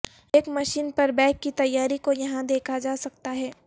ایک مشین پر بیگ کی تیاری کو یہاں دیکھا جا سکتا ہے